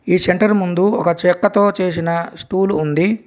ఈ సెంటర్ ముందు ఒక చెక్కతో చేసిన స్టూలు ఉంది.